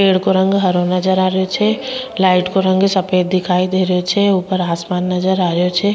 पेड़ को रंग हरो नजर आ रहियो छे लाइट को रंग सफ़ेद दिखाई दे रहियो छे ऊपर आसमान नजर आ रहियो छे।